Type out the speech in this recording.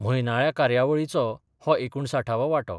म्हयनाळ्या कार्यावळीचो हो एकूणसाठावो वाटो.